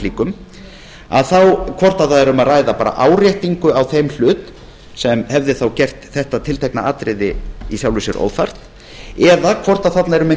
slíkum hvort bara væri um að ræða áréttingu á þeim hlut sem hefði þá gert þetta tiltekna atriði í sjálfu sér óþarft eða hvort þarna er um